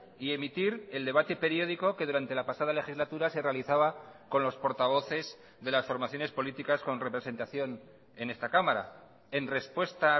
y emitir el debate periódico que durante la pasada legislatura se realizaba con los portavoces de las formaciones políticas con representación en esta cámara en respuesta